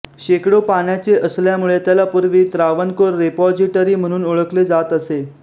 शेकडो पाण्याचे असल्यामुळे त्याला पूर्वी त्रावणकोर रेपॉजिटरी म्हणून ओळखले जात असे